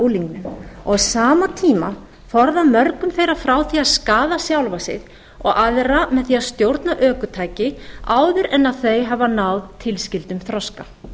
og á sama tíma að forða mörgum þeirra frá því að skaða sjálfa sig og aðra með því að stjórna ökutæki áður en þau hafa náð tilskildum þroska